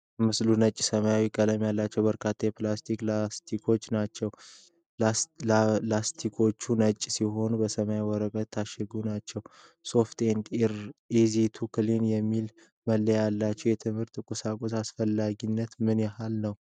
ምስሉ ነጭና ሰማያዊ ቀለም ያላቸው በርካታ የፕላስቲክ ላስቲኮችን ናቸው። ላስቲኮቹ ነጭ ሲሆኑ፤ በሰማያዊ ወረቀት የታሸጉ ናቸው፡፡ "Soft and easy to clean" የሚል መለያ ያላቸው የትምህርት ቁሳቁሶች አስፈላጊነት ምን ያህል ነው?